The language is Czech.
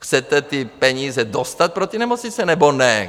Chcete ty peníze dostat pro ty nemocnice, nebo ne?